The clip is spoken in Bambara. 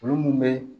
Olu mun be